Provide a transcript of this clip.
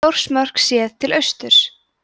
þórsmörk séð til austurs